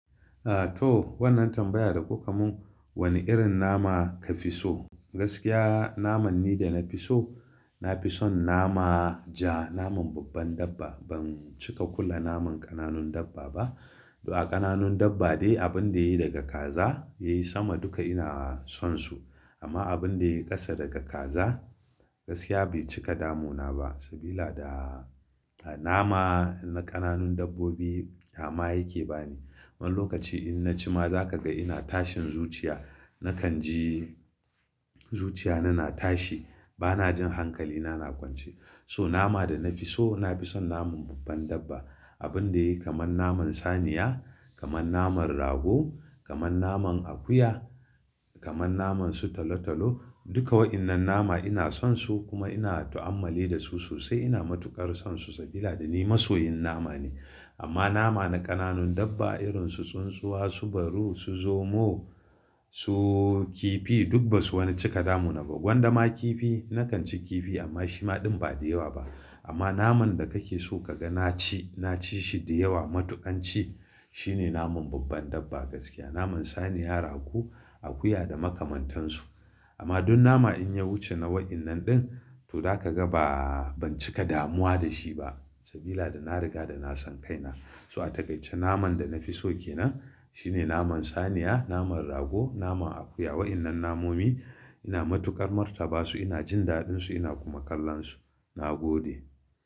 A to wannan tambaya da kuka mun, wanne irin nama ka fi so? Gaskiya naman ne da na fi so, na fi son nama ja, naman babban dabba. Ban cika kula naman ƙananun dabba ba. Da ƙananun dabba dai abun da yayi daga kaza yayi sama duka ina son su. Amma abun da yayi ƙasa daga kaza gaskiya bai cika damu na ba. Sabila da nama na ƙananun dabbobi ƙyama yake bani. Wani lokaci in na ci ma za ka ga ina tashin zuciya. Na kan ji zuciya na na tashi. Ba na jin hankali na, na kwance. So nama da na fi so, na fi son naman babban dabba. Abun da yayi kamar naman saniya, kamar naman rago, kamar naman akuya, kamar naman su talo talo. Duka wa'innan nama ina son su kuma ina ta'ammali da su sosai. Ina matukar son su sabida ni masoyin nama ne. Amma nama na ƙananun dabba irin su tsuntsuwa, su baru, su zomo, su kifi duk ba su wani cika damu na ba. Gwanda ma kifi, na kan ci kifi amma shi ma ɗin ba da yawa ba. Amma naman da ka ke so ka ga na ci, na ci shi da yawa matuƙan ci shine naman babban dabba gaskiya. Naman saniya, rago, akuya da makamantansu. Amma duk nama in ya wuce na wa'innan ɗin to za ka ga ba, ban cika damuwa da shi ba sabila da na riga da na san kai na. So a takaice naman da na fi so ke nan shine naman saniya, naman rago, naman akuya. Wa'innan namomi ina matukar martaba su, ina jin daɗin su ina kuma kallon su. Na gode.